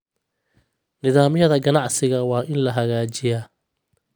Nidaamyada ganacsiga waa in la hagaajiyaa.